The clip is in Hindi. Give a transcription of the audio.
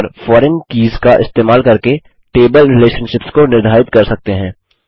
और फॉरेन कीज़ का इस्तेमाल करके टेबल रिलेशनशिप्स को निर्धारित कर सकते हैं